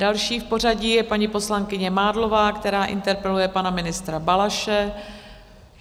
Další v pořadí je paní poslankyně Mádlová, která interpeluje pana ministra Balaše.